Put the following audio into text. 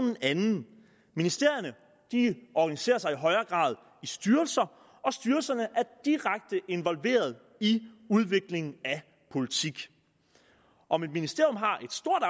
en anden ministerierne organiserer sig i højere grad i styrelser og styrelserne er direkte involveret i udvikling af politik om et ministerium har